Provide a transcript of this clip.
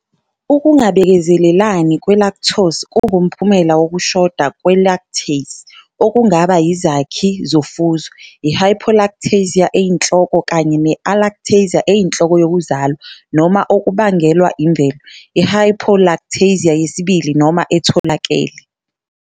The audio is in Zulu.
Ukungabekezelelani kwe-Lactose kungumphumela wokushoda kwe-lactase, okungaba yizakhi zofuzo, i-hypolactasia eyinhloko kanye ne-alactasia eyinhloko yokuzalwa, noma okubangelwa imvelo, i-hypoalactasia yesibili noma etholakele.